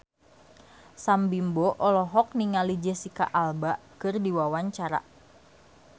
Sam Bimbo olohok ningali Jesicca Alba keur diwawancara